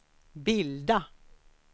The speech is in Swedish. bilda